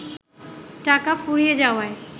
টাকা ফুরিয়ে যাওয়ায়